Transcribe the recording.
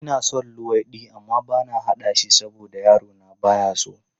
Ina son luwaiɗi amma bana haɗa shi saboda yarona ba ya son shi.